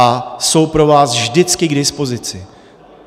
A jsou pro vás vždycky k dispozici.